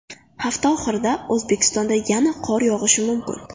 Hafta oxirida O‘zbekistonda yana qor yog‘ishi mumkin.